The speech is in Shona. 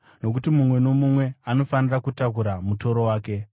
nokuti mumwe nomumwe anofanira kutakura mutoro wake.